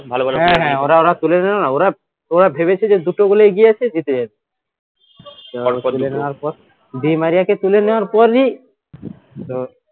ওরা ওরা তুলে নিলো না ওরা ভেবেছে যে দুটো goal এ এগিয়ে আছে জিতে যাবে দিমারিয়াকে তুলে নেওয়ার পরই তো